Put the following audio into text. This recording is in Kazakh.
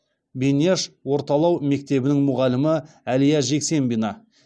беняш орталау мектебінің мұғалімі әлия жексембина